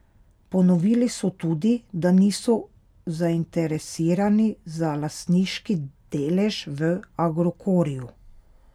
Ponovili so tudi, da niso zainteresirani za lastniški delež v Agrokorju.